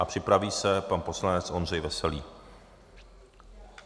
A připraví se pan poslanec Ondřej Veselý.